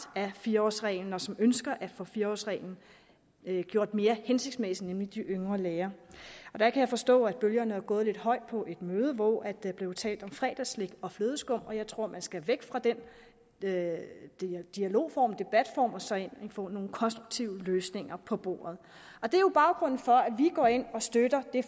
af fire årsreglen og som ønsker at få fire årsreglen gjort mere hensigtsmæssig nemlig yngre læger jeg kan forstå at bølgerne er gået lidt højt på et møde hvor der blev talt om fredagsslik og flødeskum og jeg tror at man skal væk fra den dialog dialog og debatform og så egentlig få nogle konstruktive løsninger på bordet det er jo baggrunden for at vi går ind og støtter det